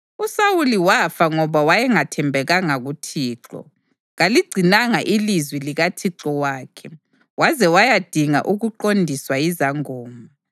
USawuli wafa ngoba wayengathembekanga kuThixo; kaligcinanga ilizwi likaThixo wakhe waze wayadinga ukuqondiswa yizangoma,